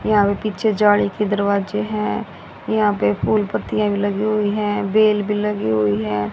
यहां पे पीछे जाले की दरवाजे हैं यहां पे फूल पत्तियां भी लगी हुई हैं बेल भी लगी हुई है।